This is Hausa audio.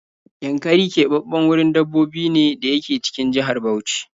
Yankari keɓaɓɓen wurin dabbobi ne da yake cikin jihar Bauchi